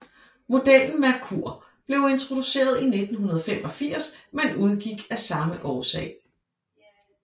Modellen Merkur blev introduceret i 1985 men udgik af samme årsag